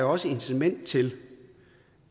også er incitament til